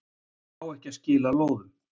Fá ekki að skila lóðum